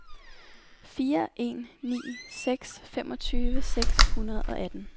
fire en ni seks femogtredive seks hundrede og atten